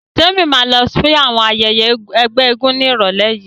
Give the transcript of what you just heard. Témi ma lọ sí ayẹyẹ àwọn ẹgbẹ́ eégún ní ìrọ̀lẹ́ yìí